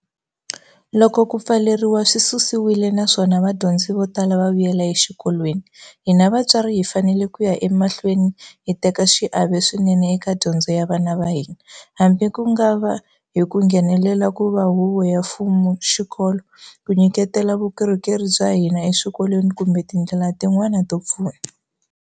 Loko ku pfaleriwa swi susiwile naswona vadyondzi vo tala va vuyela exikolweni, hina vatswari hi fanele ku ya emahlweni hi teka xiave swinene eka dyondzo ya vana va hina, hambi ku nga va hi ku nghenela ku va huvo yo fuma xikolo, ku nyiketela vukorhokeri bya hina eswikolweni kumbe ti ndlela tin'wana to pfuna.